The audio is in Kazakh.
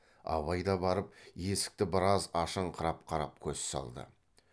абай да барып есікті біраз ашыңқырап қарап көз салды